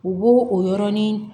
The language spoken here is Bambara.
U b'o o yɔrɔnin